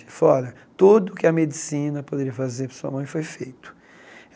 Ele falou, olha, tudo que a medicina poderia fazer pela sua mãe foi feito.